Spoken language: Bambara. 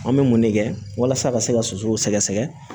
An bɛ mun de kɛ walasa a ka se ka sosow sɛgɛsɛgɛ